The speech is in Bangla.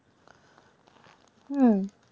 হম